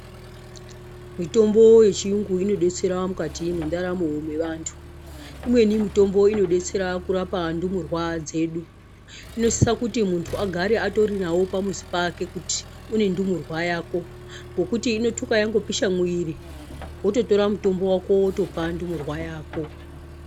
Mitombo yechiyungu inodetsera mukati mendaramo mevanthu. Imweni mitombo inodetsera kurapa ndumurwa dzedu. lnosisa kuti munthu agare atorinawo pamuzi pake kuti une ndumurwa yako, ngokuti inothuka yangopisha mwiri wototora mutombo wako wotopa ndumurwa yako.